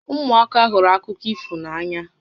Ụmụaka hụrụ akụkọ ifo n'ànyà